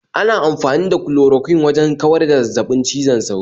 Ana amfani da Chloroquine wajan kawar da zazzabin cizon sauro